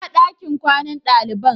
Inna ɗakin kwanan dalibain?